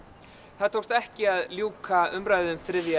það tókst ekki að ljúka umræðu um þriðja